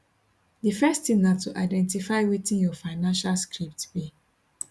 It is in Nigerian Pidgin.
di first tin na to identify wetin your financial script be